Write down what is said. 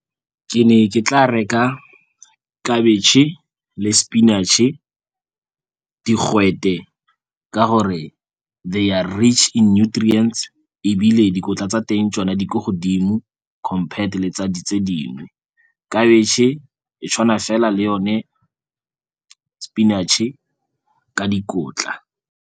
Ke ne ke tla reka khabetšhe le sepinatšhe, digwete, ka gore they are rich in nutrients, ebile dikotla tsa teng tsona di ko godimo compared le tse dingwe. Khabetšhe e tshwana fela le yone sepinatšhe ka dikotla.